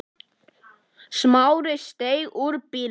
Smári steig út úr bílnum.